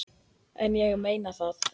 En ég meina það.